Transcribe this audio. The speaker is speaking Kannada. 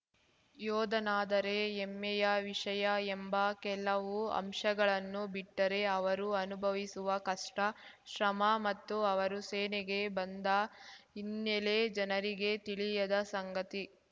ಯೋಧನಾದರೆ ಹೆಮ್ಮೆಯ ವಿಷಯ ಎಂಬ ಕೆಲವು ಅಂಶಗಳನ್ನು ಬಿಟ್ಟರೆ ಅವರು ಅನುಭವಿಸುವ ಕಷ್ಟ ಶ್ರಮ ಮತ್ತು ಅವರು ಸೇನೆಗೆ ಬಂದ ಹಿನ್ನೆಲೆ ಜನರಿಗೆ ತಿಳಿಯದ ಸಂಗತಿ